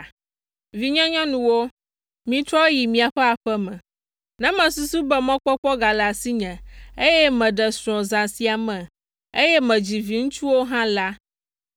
Vinyenyɔnuwo, mitrɔ yi miaƒe aƒe me. Ne mesusu be mɔkpɔkpɔ gale asinye, eye meɖe srɔ̃ zã sia me, eye medzi viŋutsuwo hã la,